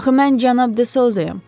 Axı mən cənab De Sozayam.